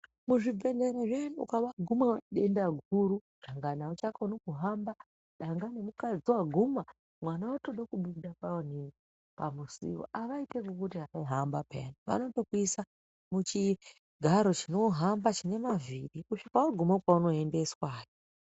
Muzvibhedhleya zviyani ukavaguma denda guru dangani auchakoni kuhamba dangani mukadzi waguma mwana otode kubuda pamusuwo avaiti ekukuti hamba pheya vanokuise muchigaro chinohamba chine mavhiri kusvika waguma kwauno endeswayo.